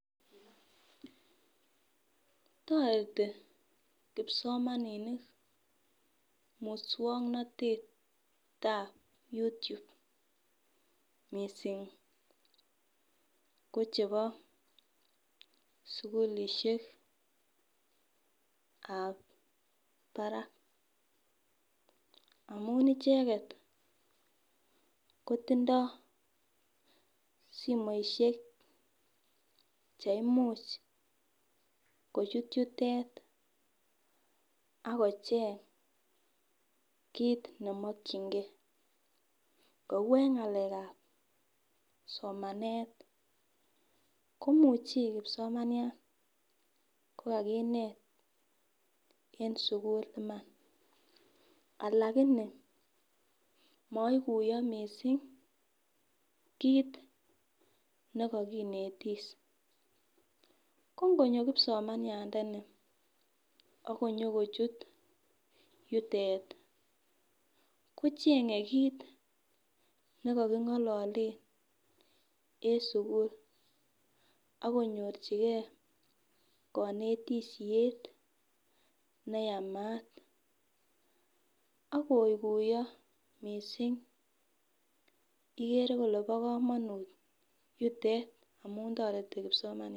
Toreti kipsomaninik muswongnotet ap YouTube mising ko chebo sukulishek ap barak amun icheket kotindoi simoishek cheimuch kochut yutet akocheny kiit nemakchingei kou eng ng'alek ap somanet komuch Ii kipsomaniat ko kakinet eng sukul Iman alakini maiguyo mising Kitt nikakinetis kongonyo kipsomaniande ni akoyokochut yutet kochenye kiit nikakingolole eng sukul akonyor chikeet konetishet ne neyamat akokuyo mising igere ile bi komonut yutet amun toreti kpsomania.